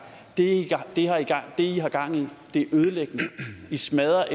det i har gang i er ødelæggende i smadrer